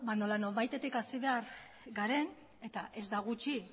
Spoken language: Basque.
nola nonbaitetik hasi behar garen eta ez da gutxi